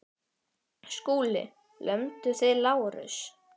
SKÚLI: Lömduð þið Lárus?